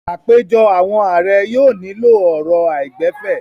Àpèjọ àwọn ààrẹ yóò nílò ọ̀rọ̀ àìgbẹ̀fẹ̀.